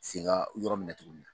se ga yɔrɔ minɛn tuguni.